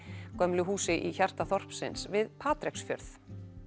gömlu húsi í hjarta þorpsins við Patreksfjörð